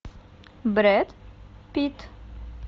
брэд питт